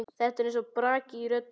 Það er eins og braki í röddinni.